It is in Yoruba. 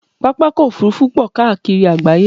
Pápákọ̀ òfurufú pọ̀ káàkiri àgbááyé